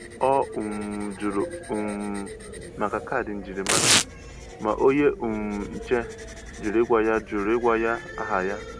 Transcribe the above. Ọ um jụrụ um maka kaadị njirima, ma onye um nche jụrụ ịgwa ya jụrụ ịgwa ya aha ya.